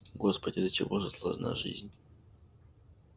господи до чего же сложна жизнь